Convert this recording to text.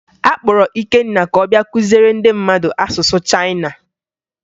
A kpọrọ Ikenna ka ọ bịa kụziere ndị mmadụ asụsụ Chayịna